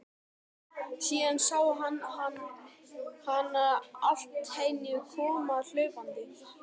Síðan sá hann hana alltíeinu koma hlaupandi.